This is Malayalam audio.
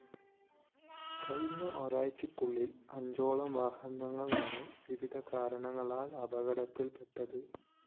കഴിഞ്ഞ ഒരാഴ്ചക്കുള്ളില്‍ അഞ്ചോളം വാഹനങ്ങളാണ് വിവിധ കാരണങ്ങളാല്‍ അപകടത്തില്‍പെട്ടത്